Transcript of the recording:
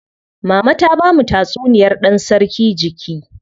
Mama ta bamu tatsuniyar dan sarki jiki.